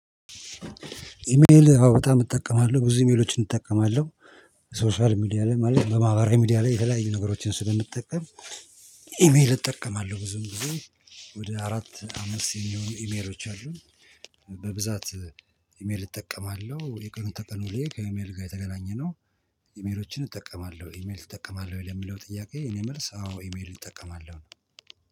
ኢሜል በጣም እጠቀማለሁ ብዙ ኢሜሎችን እጠቀማለሁ። ሶሻል ሚዲያ ላይ ማለት በማህበራዊ ሚዲያ ላይ የተለያየ ነገሮችን ስለምጠቀም። ኢሜል እጠቀማለሁ ብዙን ጊዜ። ወደ አራት አመት የሚሆኑ ኢሜሮች አሉን። በብዛት ኢሜል እጠቀማለሁ የቀኑን ተቀን ዉሎዬ ከኢሜል ጋር የተገናኘነው። ኢሜሎችን እጠቀማለሁ ኢሜል እጠቀማለሁ ወይ ለሚለው ጥያቄ እኔ መልስ አዎ ኢሜል እጠቀማለሁ ነው።